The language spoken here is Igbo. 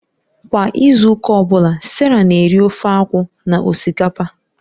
Kwa izu ụka ọ bụla, Sarah na-eri ofe akwu na osikapa